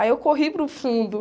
Aí eu corri para o fundo.